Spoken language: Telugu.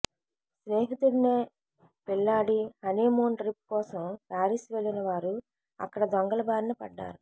స్నేహితుడినే పెళ్లాడి హనీమూన్ ట్రిప్ కోసం పారిస్ వెళ్ళిన వారు అక్కడ దొంగల బారిన పడ్డారు